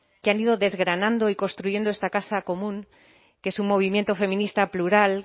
que han ido desgranando y construyendo esta casa común que es un movimiento feminista plural